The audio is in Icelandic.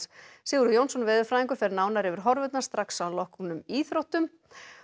Sigurður Jónsson veðurfræðingur fer nánar yfir horfurnar strax að loknum íþróttum